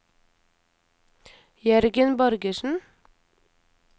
Jørgen Borgersen